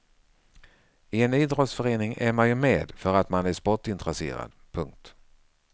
I en idrottsförening är man ju med för att man är sportintresserad. punkt